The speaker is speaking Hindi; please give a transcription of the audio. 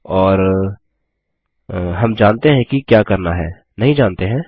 और हम जानते हैं कि क्या करना है नहीं जानते हैं